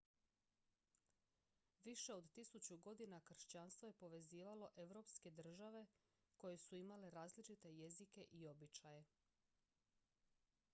više od tisuću godina kršćanstvo je povezivalo europske države koje su imale različite jezike i običaje